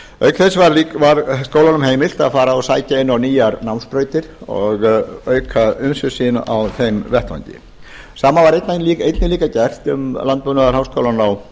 auk þess var skólanum heimilt að fara og sækja inn á nýjar námsbrautir og auka umsvif sín á þeim vettvangi það sama var einnig líka gert við landbúnaðarháskólann á